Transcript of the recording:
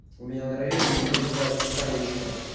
у меня на районе её называют санечка